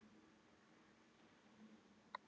Var eitthvað Van Mata í gangi?